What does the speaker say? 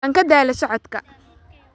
Waan ka daalay socodka